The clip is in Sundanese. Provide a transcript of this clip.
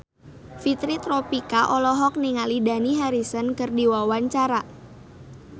Fitri Tropika olohok ningali Dani Harrison keur diwawancara